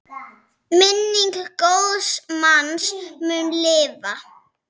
Minning góðs manns mun lifa.